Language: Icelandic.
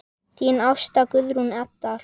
Þín Ásta Guðrún Eydal.